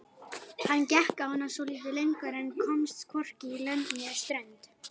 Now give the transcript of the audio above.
Hann gekk á hana svolítið lengur en komst hvorki lönd né strönd.